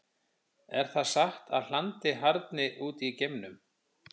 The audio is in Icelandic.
Er það satt að hlandið harðni út í geimnum?